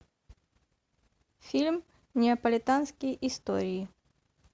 фильм неаполитанские истории